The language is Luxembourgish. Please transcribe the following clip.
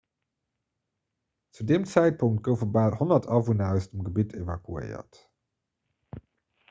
zu deem zäitpunkt goufe bal 100 awunner aus dem gebitt evakuéiert